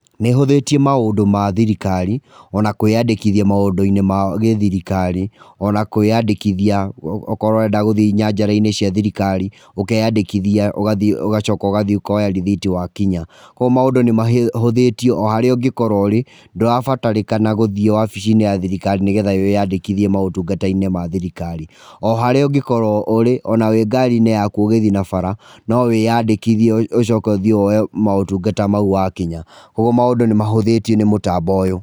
Nĩ ĩhuthĩtie maũndũ ma thirikari, o na kwĩandĩkithia maũndũ-inĩ ma gĩthirikari, o na kwĩandĩkithia okorwo ũrenda gũthiĩ nyanjara-inĩ cia thirikari, ũkeandĩkithia, ũgathiĩ ũgacoka ũgathiĩ ũkoya rĩthiti wa kinya. Kũoguo maũndũ nĩ mahũthĩtio, harĩa ũngĩkorwo ũrĩ, ndũrabatarĩkana gũthiĩ wabici-inĩ ya thirikari nĩgetha wĩ andĩkithie maũtungata-inĩ ma thirikari. O harĩa ũngĩkorwo ũrĩ, ona wĩ ngari-inĩ yaku ũgĩthiĩ na bara, no wĩ andĩkithie ũcoke ũthiĩ woye maũtungata mau wakinya. Kũoguo maũndũ nĩ mahũthĩtio nĩ mũtambo ũyũ.